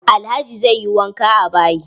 Alhaji zai yi wanka a bayi.